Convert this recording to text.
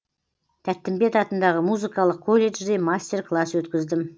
тәттімбет атындағы музыкалық колледжде мастер класс өткіздім